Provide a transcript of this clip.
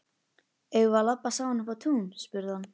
Eigum við að labba saman upp á tún? spurði hann.